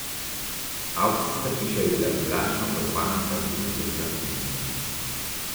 Avkcijska hiša je bila privlačna opazovalnica družbenega humusa.